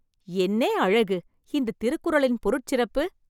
என்னே அழகு! இந்த திருக்குறளின் பொருட் சிறப்பு